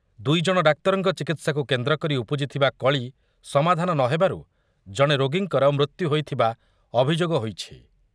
ଦୁଇଜଣ ଡାକ୍ତରଙ୍କ ଚିକିତ୍ସାକୁ କେନ୍ଦ୍ରକରି ଉପୁଜିଥିବା କଳି ସମାଧାନ ନ ହେବାରୁ ଜଣେ ରୋଗୀଙ୍କର ମୃତ୍ୟୁ ହୋଇଥିବା ଅଭିଯୋଗ ହୋଇଛି ।